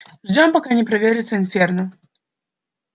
ждём пока не проверится инферно